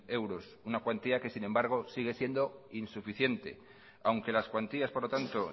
euros una cuantía que sin embargo sigue siendo insuficiente aunque las cuantías por lo tanto